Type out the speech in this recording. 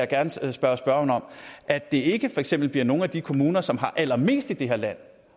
gerne stille spørgeren at det ikke for eksempel bliver nogle af de kommuner som har allermest i det her land